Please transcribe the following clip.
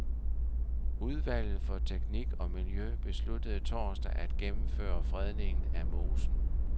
Udvalget for teknik og miljø besluttede torsdag at gennemføre fredningen af mosen.